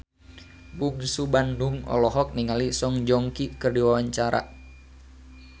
Bungsu Bandung olohok ningali Song Joong Ki keur diwawancara